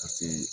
Ka see